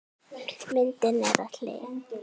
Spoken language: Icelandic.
Myndin er á hlið.